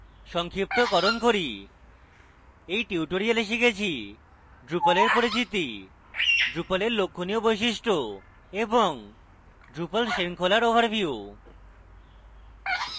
সংক্ষিপ্তকরণ করি এই টিউটোরিয়ালে আমরা শিখেছি: drupal এর পরিচিতি drupal এর লক্ষণীয় বৈশিষ্ট্য এবং drupal শৃঙ্খলার ওভারভিউ